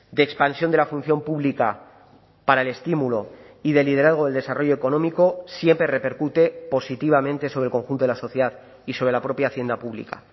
de expansión de la función pública para el estímulo y de liderazgo del desarrollo económico siempre repercute positivamente sobre el conjunto de la sociedad y sobre la propia hacienda pública